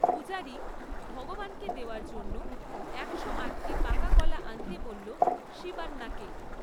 পূজারী ভগবানকে দেওয়ার জন্য একশো আটটি পাকা কলা আনতে বলল শিবান্নাকে।